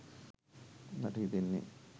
මට හිතන්නේ.